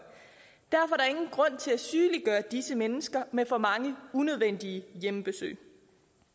ingen grund til at sygeliggøre disse mennesker med for mange unødvendige hjemmebesøg